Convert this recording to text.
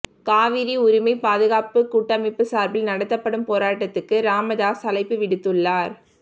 காவிரி உரிமை பாதுகாப்புக் கூட்டமைப்பு சார்பில் நடத்தப்படும் போராட்டத்துக்கு ராமதாஸ் அழைப்புவிடுத்துள்ளார்